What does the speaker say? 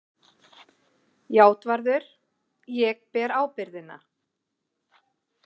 JÁTVARÐUR: Ég ber ábyrgðina.